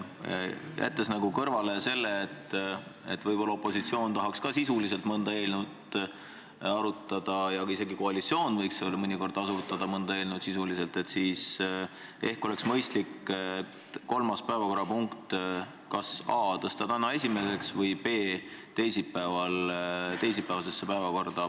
Jättes kõrvale asjaolu, et võib-olla tahaks ka opositsioon mõnda eelnõu sisuliselt arutada ja isegi koalitsioon võiks mõnikord mõnda eelnõu sisuliselt arutada, siis ehk oleks mõistlik kolmas päevakorrapunkt, kas a) tõsta täna esimeseks või b) panna teisipäevasesse päevakorda.